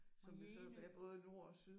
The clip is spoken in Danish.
Og Jegindø